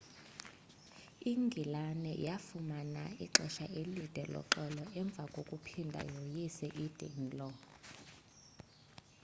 ingilane yafumana ixesha elide loxolo emva kokuphinda yoyise i-danelaw